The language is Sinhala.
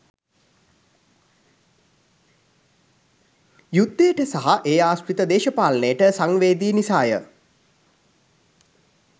යුද්ධයට සහ ඒ ආශ්‍රිත දේශපාලනයට සංවේදී නිසා ය.